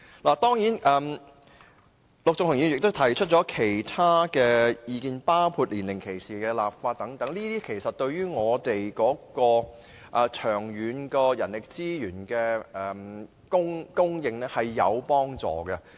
陸頌雄議員也提出了其他意見，包括就年齡歧視立法等，這些建議對於人力資源的長遠供應是有幫助的。